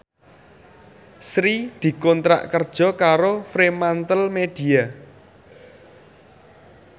Sri dikontrak kerja karo Fremantlemedia